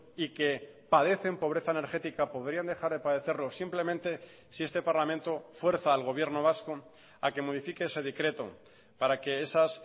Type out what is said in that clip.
y que padecen pobreza energética podrían dejar de padecerlo simplemente si este parlamento fuerza al gobierno vasco a que modifique ese decreto para que esas